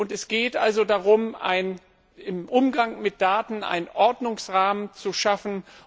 Es geht also darum, im Umgang mit Daten einen Ordnungsrahmen zu schaffen.